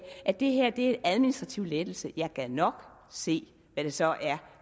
at det er en administrativ lettelse jeg gad nok se hvad det så er